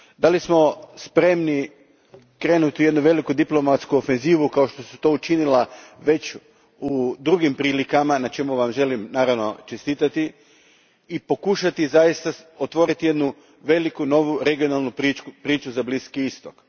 Jesmo li spremni krenuti u jednu veliku diplomatsku ofenzivu, kao što ste to već učinili u drugim prilikama, na čemu Vam želim naravno čestitati, i pokušati zaista otvoriti jednu veliku novu regionalnu priču za Bliski istok?